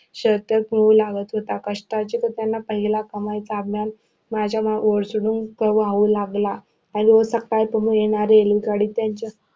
शतक क्रूर लावत होता कष्टाची तो पहिला. कमाईचा आनंद माझ्या ओसंडून तो वाहू लागला रोज येणारी रेलगाडी त्यांचा